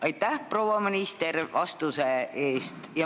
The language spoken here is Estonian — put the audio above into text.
Aitäh, proua minister, vastuse eest!